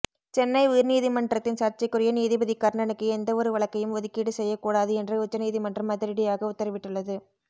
சென்னை உயர்நீதிமன்றத்தின் சர்ச்சைக்குரிய நீதிபதி கர்ணனுக்கு எந்த ஒரு வழக்கையும் ஒதுக்கீடு செய்யக் கூடாது என்று உச்சநீதிமன்றம் அதிரடியாக உத்தரவிட்டுள்ளது